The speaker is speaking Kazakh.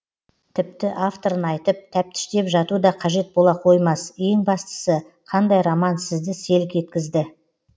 тіпті авторын айтып тәптіштеп жату да қажет бола қоймас ең бастысы қандай роман сізді селк еткізді